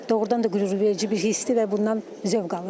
Doğrudan da qürurverici bir hissdir və bundan zövq alıram.